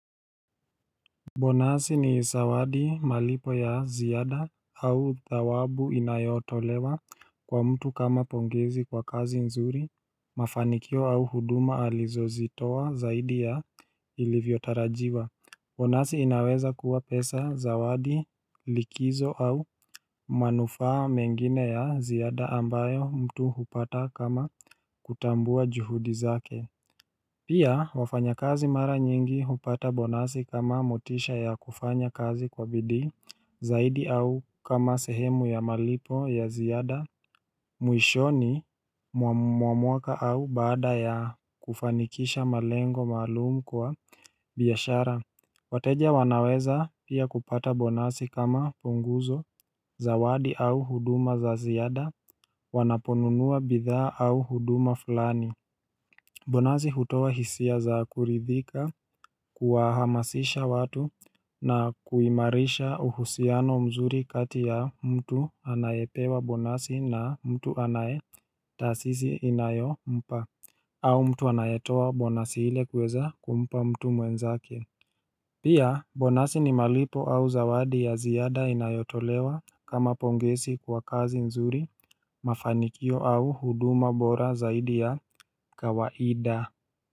Bonasi ni zawadi malipo ya ziyada au zawabu inayotolewa kwa mtu kama pongezi kwa kazi nzuri mafanikio au huduma alizo zitoa zaidi ya ilivyotarajiwa Bonasi inaweza kuwa pesa zawadi likizo au manufaa mengine ya ziyada ambayo mtu hupata kama kutambua juhudi zake Pia wafanya kazi mara nyingi hupata bonazi kama motisha ya kufanya kazi kwa bidhi, zaidi au kama sehemu ya malipo ya ziyada, muishoni, mwa mwaka au bada ya kufanikisha malengo malumu kwa biyashara wateja wanaweza pia kupata bonazi kama punguzo, zawadi au huduma za ziyada, wanaponunua bidha au huduma fulani Bonazi hutowa hisia za kuridhika kuahamasisha watu na kuimarisha uhusiano mzuri kati ya mtu anayepewa bonazi na mtu anaye tasisi inayo mpa au mtu anayetowa bonazi hile kweza kumpa mtu mwenzake Pia bonazi ni malipo au zawadi ya ziyada inayotolewa kama pongesi kwa kazi nzuri mafanikio au huduma bora zaidi ya kawaida.